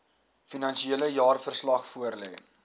finansiële jaarverslag voorlê